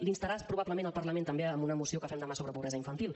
l’instarà probablement el parlament també amb una moció que fem demà sobre pobresa infantil